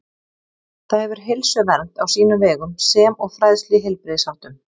Það hefur heilsuvernd á sínum vegum sem og fræðslu í heilbrigðisháttum.